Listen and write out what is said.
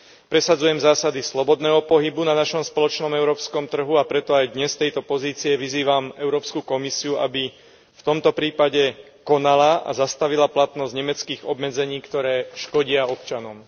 Presadzujem zásady slobodného pohybu na našom spoločnom európskom trhu, a preto aj dnes z tejto pozície vyzývam Európsku komisiu, aby v tomto prípade konala a zastavila platnosť nemeckých obmedzení, ktoré škodia občanom.